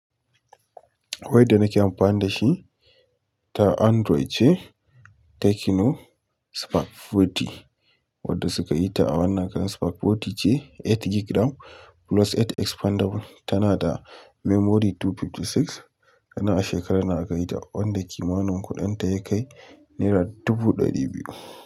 Wai da nake amfani da shi ta Android ce Tecno Spark 40 wadda suka yi ta a wannan kan. Spark fourty ce eight GB RAM plus eight expandable tana da memory two fifty six. Sannan a shekarar nan aka yi ta wanda kimanin kuɗin ta ya kai naira dubu ɗari biyu.